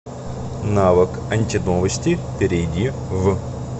навык антиновости перейди в